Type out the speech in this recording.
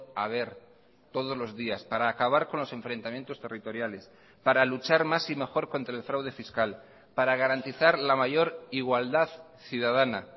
a ver todos los días para acabar con los enfrentamientos territoriales para luchar más y mejor contra el fraude fiscal para garantizar la mayor igualdad ciudadana